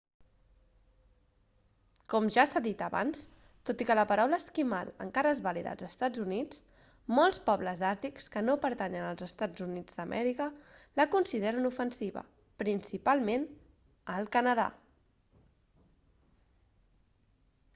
com ja s'ha dit abans tot i que la paraula esquimal encara és vàlida als estats units molts pobles àrtics que no pertanyen als eua la consideren ofensiva principalment al canadà